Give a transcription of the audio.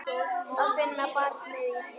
Að finna barnið í sér.